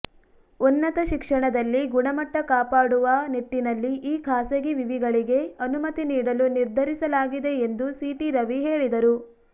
ಉನ್ನತ ಶಿಕ್ಷಣದಲ್ಲಿ ಗುಣಮಟ್ಟ ಕಾಪಾಡುವ ನಿಟ್ಟಿನಲ್ಲಿ ಈ ಖಾಸಗಿ ವಿವಿಗಳಿಗೆ ಅನುಮತಿ ನೀಡಲು ನಿರ್ಧರಿಸಲಾಗಿದೆ ಎಂದು ಸಿಟಿ ರವಿ ಹೇಳಿದರು